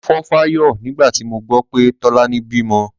Mo fò fáyọ̀ nígbà tí mo gbọ́ pé Tọ́lání bímọ.